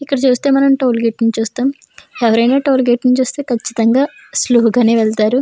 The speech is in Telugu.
ఇక్కడ చూస్తే మనం టోల్గేట్ని చూస్తున్నాము. ఎవరైనా టోల్గేట్ ను చూస్తే కచ్చితంగా స్లో గానే వెళతారు.